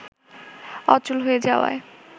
অচল হয়ে যাওয়ায়